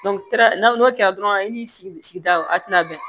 n'o kɛra dɔrɔn i ni sigida o a tɛna bɛn